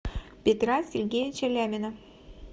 петра сергеевича лямина